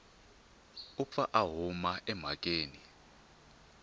u pfa a huma emhakeni